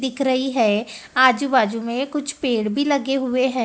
दिख रही हैं आजू बाजू में कुछ पेड़ भी लगे हुएं हैं।